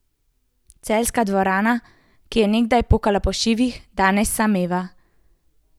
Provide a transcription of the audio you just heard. Celjska dvorana, ki je nekdaj pokala po šivih, danes sameva.